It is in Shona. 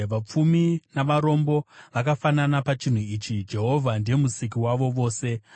Vapfumi navarombo vakafanana pachinhu ichi: Jehovha ndiye Musiki wavo vose.